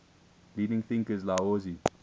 leading thinkers laozi